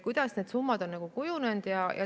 Kuidas need summad on kujunenud?